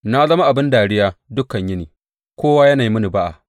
Na zama abin dariya dukan yini; kowa yana yi mini ba’a.